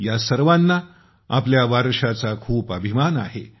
या सर्वांना आपल्या वारशाचा खूप अभिमान आहे